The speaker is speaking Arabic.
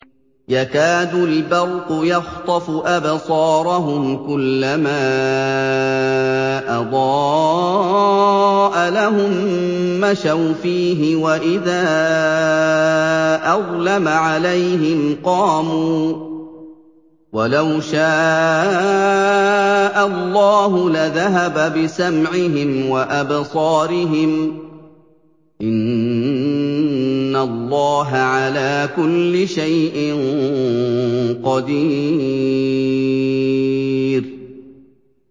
يَكَادُ الْبَرْقُ يَخْطَفُ أَبْصَارَهُمْ ۖ كُلَّمَا أَضَاءَ لَهُم مَّشَوْا فِيهِ وَإِذَا أَظْلَمَ عَلَيْهِمْ قَامُوا ۚ وَلَوْ شَاءَ اللَّهُ لَذَهَبَ بِسَمْعِهِمْ وَأَبْصَارِهِمْ ۚ إِنَّ اللَّهَ عَلَىٰ كُلِّ شَيْءٍ قَدِيرٌ